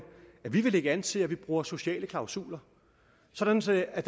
at vi vil lægge an til at vi bruger sociale klausuler sådan sådan at